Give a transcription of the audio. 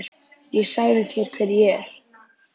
Ég sagði þér hver ég er.